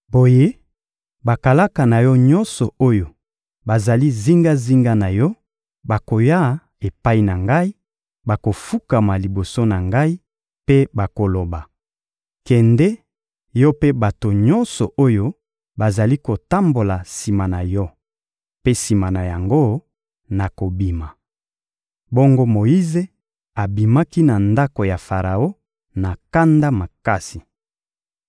Boye, bakalaka na yo nyonso oyo bazali zingazinga na yo bakoya epai na ngai, bakofukama liboso na ngai mpe bakoloba: ‹Kende, yo mpe bato nyonso oyo bazali kotambola sima na yo.› Mpe sima na yango, nakobima.» Bongo Moyize abimaki na ndako ya Faraon na kanda makasi.